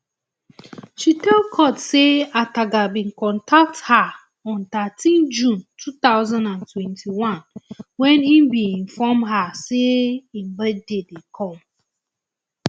she tell court say ataga bin contact her on thirteen june two thousand and twenty-one wen im inform her say im birthday dey come